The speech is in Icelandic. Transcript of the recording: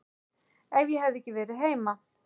Ef ég hefði ekki verið heima.